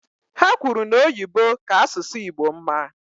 Ha kwuru na Oyibo ka asụsụ Igbo mma.